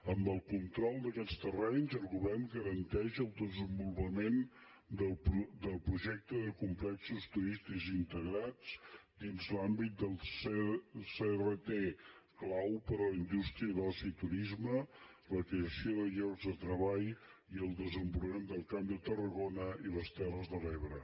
amb el control d’aquests terrenys el govern garanteix el desenvolu·pament del projecte de complexos turístics integrats dins l’àmbit del crt clau per a la indústria d’oci i tu·risme la creació de llocs de treball i el desenvolupa·ment del camp de tarragona i les terres de l’ebre